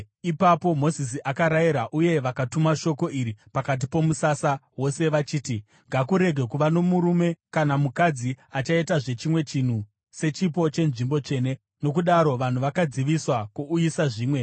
Ipapo Mozisi akarayira uye vakatuma shoko iri pakati pomusasa wose vachiti, “Ngakurege kuva nomurume kana mukadzi achaitazve chimwe chinhu sechipo chenzvimbo tsvene.” Nokudaro vanhu vakadziviswa kuuyisa zvimwe,